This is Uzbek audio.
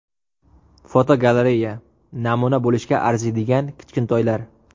Fotogalereya: Namuna bo‘lishga arziydigan kichkintoylar.